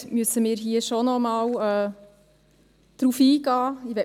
Im Gegensatz zur Kommissionsmehrheit müssen wir hier noch einmal darauf eingehen.